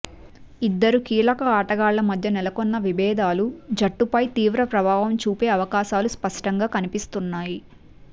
ఇద్దరు కీలక ఆటగాళ్ల మధ్య నెలకొన్న విభేదాలు జట్టుపై తీవ్ర ప్రభావం చూపే అవకాశాలు స్పష్టంగా కనిపిస్తున్నాయి